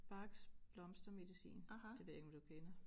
Bachs Blomstermedicin det ved jeg ikke om du kender